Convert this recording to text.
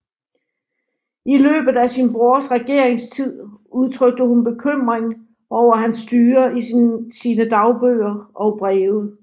I løbet af sin brors regeringstid udtrykte hun bekymring over hans styre i sine dagbøger og breve